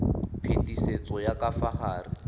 phetisetso ya ka fa gare